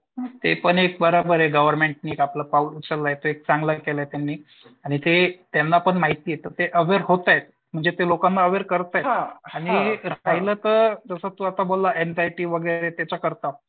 ते पण एक बराबर आहे गव्हर्नमेंट ने आपलं पाऊल उचललाय एक चांगलं केलंय त्यांनी. आणि ते त्यांना पण माहिती आहे तर ते अवेअर होतायेत. म्हणजे ते लोकांना अवेअर करतायेत आणि राहील तर तू आता जसा बोलला एंझाइटी वगैरे त्याच्या करता.